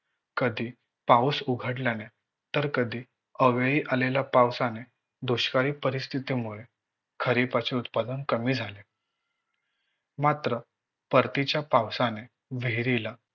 कधी पाऊस उघडल्याने तर कधी अवेळी आलेल्या पावसाने दुष्काळी परिस्थितीमुळे खरिपाचे उत्पादन कमी झाले. मात्र परतीच्या पावसाने विहिरीला